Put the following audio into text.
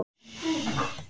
Hvaða bækur eru þetta?